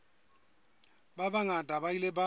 ba bangata ba ile ba